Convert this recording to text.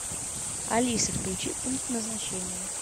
алиса включи пункт назначения